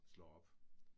Slår op